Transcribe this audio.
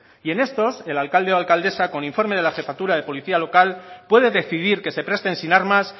y en estos el alcalde o alcaldesa con informe de la jefatura de policía local pueden decidir que se presten sin armas